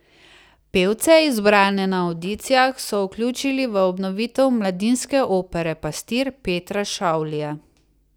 Pevce, izbrane na avdicijah, so vključili v obnovitev mladinske opere Pastir Petra Šavlija.